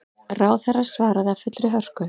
Ráðherra svaraði af fullri hörku.